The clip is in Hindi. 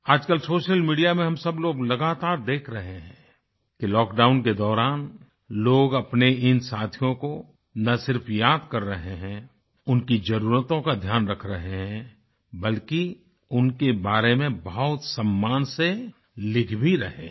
आज कल सोशल मीडिया में हम सबलोग लगातार देख रहे हैं कि लॉकडाउन के दौरान लोग अपने इन साथियों को न सिर्फ़ याद कर रहे है उनकी ज़रूरतों का ध्यान रख रहे हैं बल्कि उनके बारे में बहुत सम्मान से लिख भी रहे हैं